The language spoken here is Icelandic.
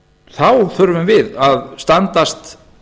þá þurfum við að standast